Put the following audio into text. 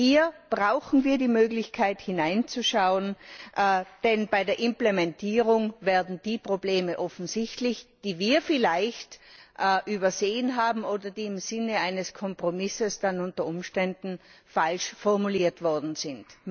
Hier brauchen wir die Möglichkeit, hineinzuschauen, denn bei der Implementierung werden die Probleme offensichtlich, die wir vielleicht übersehen haben oder die im Sinne eines Kompromisses dann unter Umständen falsch formuliert worden sind.